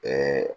Ɛɛ